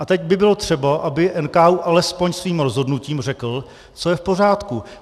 A teď by bylo třeba, aby NKÚ alespoň svým rozhodnutím řekl, co je v pořádku.